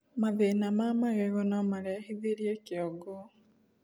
mathĩna ma magego nomarehithirie kĩongo